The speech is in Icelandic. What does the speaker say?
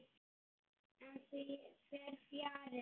En því fer fjarri.